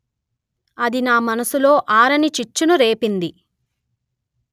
అది నా మనస్సులో ఆరనిచిచ్చును రేపింది